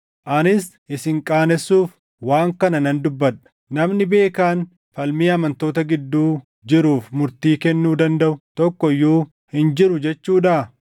Anis isin qaanessuuf waan kana nan dubbadha. Namni beekaan falmii amantoota gidduu jiruuf murtii kennuu dandaʼu tokko iyyuu hin jiru jechuudhaa?